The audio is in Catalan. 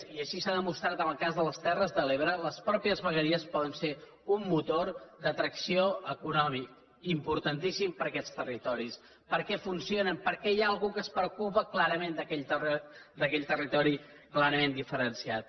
i així s’ha demostrat en el cas de les terres de l’ebre les mateixes vegueries poden ser un motor d’atracció econòmic importantíssim per aquests territoris perquè funcionen perquè hi ha algú que es preocupa clarament d’aquell territori clarament diferenciat